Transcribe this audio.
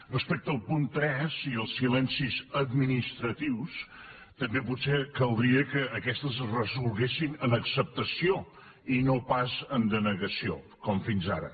respecte al punt tres i als silencis administratius també potser caldria que aquests es resolguessin en acceptació i no pas en denegació com fins ara